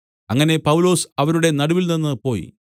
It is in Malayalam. അങ്ങനെ പൗലൊസ് അവരുടെ നടുവിൽനിന്ന് പോയി